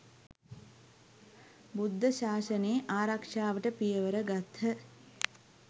බුද්ධ ශාසනයේ ආරක්‍ෂාවට පියවර ගත්හ.